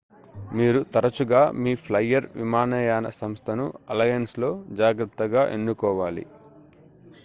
మీరు తరచుగా మీ ఫ్లైయర్ విమానయాన సంస్థను అలయన్స్లో జాగ్రత్తగా ఎన్నుకోవాలి